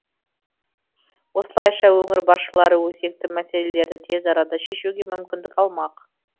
осылайша өңір басшылары өзекті мәселелерді тез арада шешуге мүмкіндік алмақ